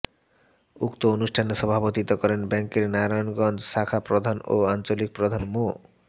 উক্ত অনুষ্ঠানে সভাপতিত্ব করেন ব্যাংকের নারায়নগঞ্জ শাখা প্রধান ও আঞ্চলিক প্রধান মো